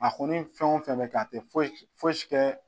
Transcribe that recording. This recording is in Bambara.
A kɔni fɛn o fɛn bɛ kɛ a tɛ foyi si kɛ